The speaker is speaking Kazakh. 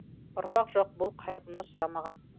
ұрпақ жоқ бұл қайғыны сұрамаған